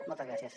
moltes gràcies